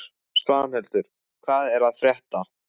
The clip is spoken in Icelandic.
Svanhildur, hvað er að frétta?